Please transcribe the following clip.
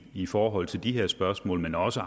i forhold til de her spørgsmål også